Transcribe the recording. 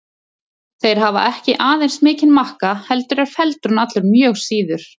Þeir hafa ekki aðeins mikinn makka heldur eru feldurinn allur mjög síður.